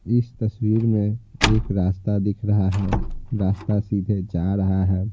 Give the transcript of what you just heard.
इस तस्वीर में एक रास्ता दिख रहा है रास्ता सीधे जा रहा है।